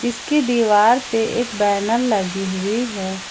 इसकी दीवार पे एक बैनर लगी हुई है।